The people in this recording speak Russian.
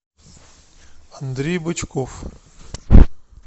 андрей бычков